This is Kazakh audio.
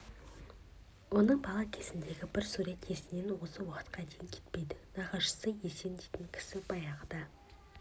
оның бала кезіндегі бір сурет есінен осы уақытқа дейін кетпейді нағашысы есен дейтін кісі баяғыда